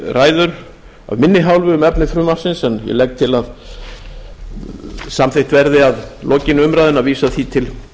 ræður af minni hálfu um efni frumvarpsins en ég legg til að samþykkt verði að lokinni umræðunni að vísa því til